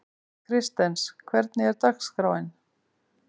Kristens, hvernig er dagskráin?